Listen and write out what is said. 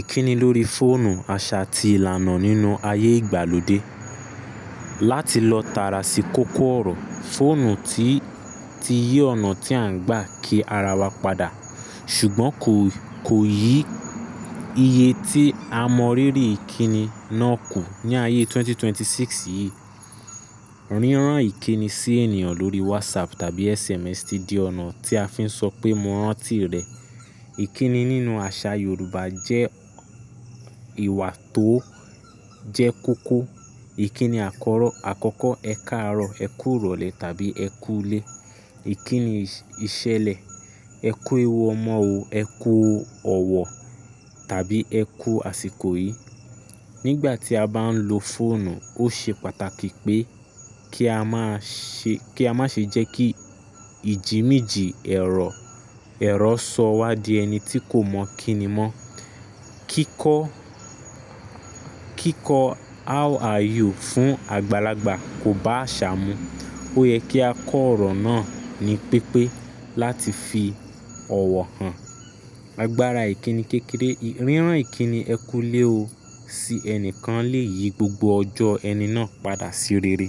Ìkíni lórí fóònù àṣà ti ìlànà nínú ayé ìgbàlódé. Láti lọ tààrà sí kókó ọ̀rọ̀, fóònù ti, ti yi ọ̀nà tí à ń gbà kí ara wa padà. Ṣùgbọ́n kò, kò yí iye tí a mọ ríri ìkíni náà kù ní ayé 2026 yìí. Rírán ìkíni sí ènìyàn lórí WhatsApp tàbí SMS ti di ọ̀nà tí a fi ń sọ pé "mo rántí rẹ". Ìkíni nínú àṣà Yorùbá jẹ́ ìwà tó jẹ́ kókó. Ìkíni àkọ̀rọ̀, àkọ́kọ́, ẹ káàárọ̀, ẹ kú ìrọ̀lẹ́ tàbí ẹ kú u lé. Ìkíni ìṣẹlẹ̀, ẹ kú ewu ọmọ o, ẹ kú ọ̀wọ̀ tàbí ẹ kú àsìkò yìí. Nígbà tí a bá ń lo fóònù, ó ṣe pàtàkì pé kí a má ṣe, kí a má ṣe jẹ́ kí ìjìníji ẹ̀rọ, ẹ̀rọ sọ wá di ẹni tí kò mọ kínní mọ́. Kíkọ́, kíkọ́ how are you fún àgbàlagbà kò bá àṣà mu. Ó yẹ kí a kọ ọ̀rọ̀ náà ní pípé láti fi ọ̀wọ̀ hàn. Agbára ìkíni kékeré, rírán ìkíni ẹ kú u lé o si ẹnìkan lè yí gbogbo ọjọ́ ẹni náà padà sí rere.